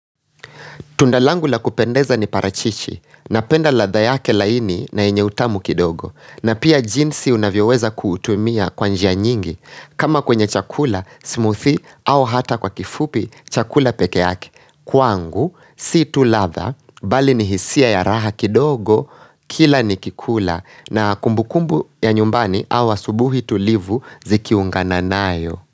Tunda langu la kupendeza ni parachichi, napenda ladha yake laini na yenye utamu kidogo, na pia jinsi unavyoweza kuutumia kwa njia nyingi, kama kwenye chakula, smoothie, au hata kwa kifupi chakula peke yake. Kwangu, si tu ladha, bali ni hisia ya raha kidogo, kila nikikula, na kumbukumbu ya nyumbani au asubuhi tulivu zikiungana nayo.